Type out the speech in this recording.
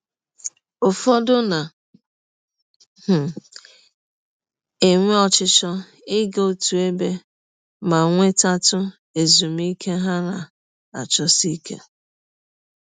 Ụfọdụ na um - enwe ọchịchọ ịga ọtụ ebe ma nwetatụ ezụmịke ha na - achọsi ike.